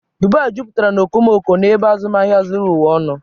Dubai jupụtara na okomoko na ebe azụmahịa zuru ụwa ọnụ.